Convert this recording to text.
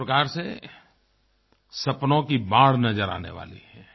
एक प्रकार से सपनों की बाढ़ नज़र आने वाली है